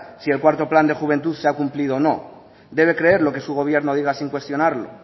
si el cuarto plan de juventud se ha cumplido o no debe creer lo que su gobierno diga sin cuestionarlo